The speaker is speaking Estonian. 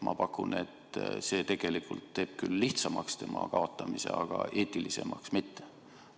Ma pakun, et see tegelikult teeb küll selle kaotamise lihtsamaks, aga eetilisemaks mitte.